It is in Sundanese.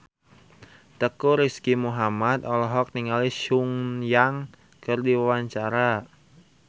Teuku Rizky Muhammad olohok ningali Sun Yang keur diwawancara